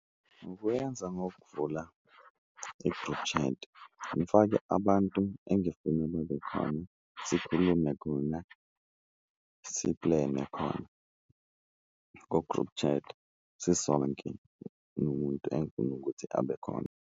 Ngokuyenza ngokuvula i-group chat ngifake abantu engifuna babe khona sikhulume khona, siplene khona ku-group chat sisonke nomuntu engufuna ukuthi abe khona.